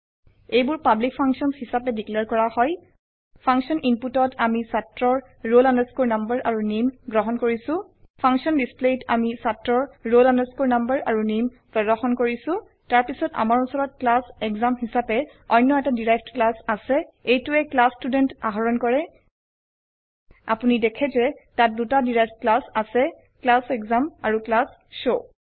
এইবোৰ public functions হিসাবে declare কৰা হয় ফাংচন inputত আমি ছাত্ৰৰ roll no আৰু নামে গ্ৰহন কৰিছো ফাংচন displayত আমি ছাত্ৰৰ roll no আৰু নামে প্ৰদৰ্শন কৰিছো তাৰপিছত আমাৰ উচৰত ক্লাছ এসাম হিচাবে অন্য এটা ডেৰাইভড ক্লাছ আছে এইটোৱে ক্লাছ ষ্টুডেণ্ট আহৰণ কৰে আপোনি দেখে যে তাত দুটা ডেৰাইভড ক্লাছ আছে ক্লাছ এসাম আৰু ক্লাছ শৱ